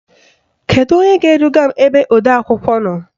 Kedu onye ga-eduga m ebe odeakwụkwọ nọ?